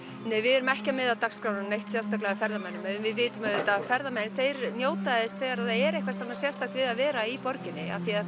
nei við erum ekki að miða dagskrána sérstaklega ferðamönnum við vitum auðvitað að ferðamenn þeir njóta þess þegar það er eitthvað sérstakt við að vera í borginni